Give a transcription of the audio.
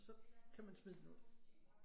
Så kan man smide den ud